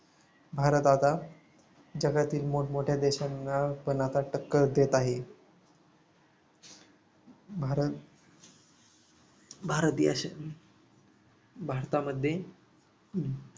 भारत आता जगातील मोठमोठ्या देशांना पण आता टक्कर देत आहे भारत भारत देशातील भारतामध्ये